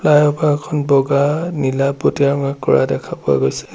Flyover খন বগা নীলা পতীয়া ৰঙা কৰা দেখা পোৱা গৈছে।